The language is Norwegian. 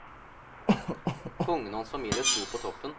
Kongen og hans famile stod på toppen.